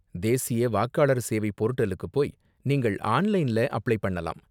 தேசிய வாக்களர் சேவை போர்டலுக்கு போய் நீங்கள் ஆன்லைன்ல அப்ளை பண்ணலாம்.